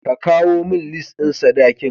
Ka kawo min lis ɗin sadakin.